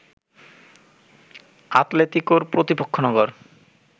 আতলেতিকোর প্রতিপক্ষ নগর